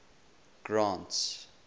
grant's